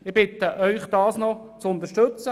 Ich bitte Sie, das zu unterstützen.